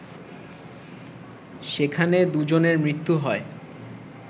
সেখানে দুজনের মৃত্যু হয়